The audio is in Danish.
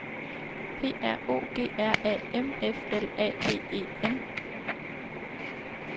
P R O G R A M F L A D E N